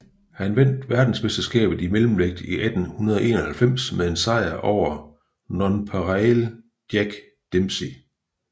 Han vandt verdensmesterskabet i mellemvægt i 1891 med en sejr over Nonpareil Jack Dempsey